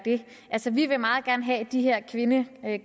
det altså vi vil meget gerne have de her kvindekvoter i